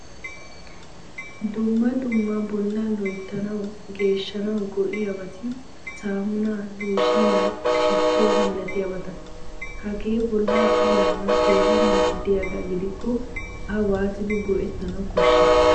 Dumma dumma bolla loyttanawu, geeshshanawu go"iyaabati saamuna, looshiniyaa, shiituwaa milatiyabata. Hagee bolla puulayanawu keehin maadiyaga gidiko a waatidi goettanawu koshshi?